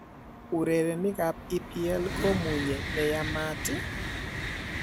Urerenikab EPL komunye ne yamat ii?